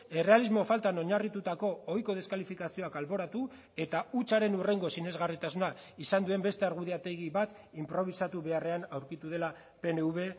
errealismo faltan oinarritutako ohiko deskalifikazioak alboratu eta hutsaren hurrengo sinesgarritasuna izan duen beste argudiategi bat inprobisatu beharrean aurkitu dela pnv